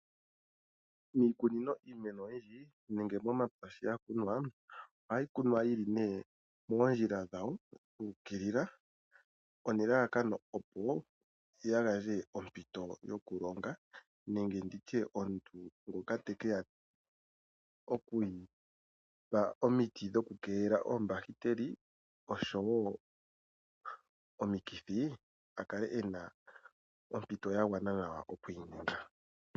Iimeno oyindji ohayi kunwa yili moofola dhawo dhu u kilila opo iimeno kaa yimene yili mumwe unene yoo yi koke nawa nuupu.